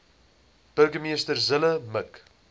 burgemeester zille mik